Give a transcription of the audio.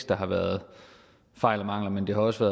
der har været fejl og mangler men det er også